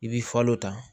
I bi falo ta